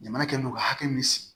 Jamana kɛlen don ka hakɛ min sigi